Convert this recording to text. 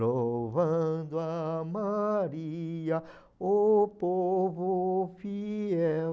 Louvando a Maria, o povo fiel.